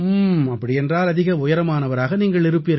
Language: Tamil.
அப்படி என்றால் அதிக உயரமானவராக நீங்கள் இருப்பீர்கள்